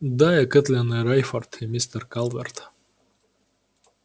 да и кэтлин и рейфорд и мистер калверт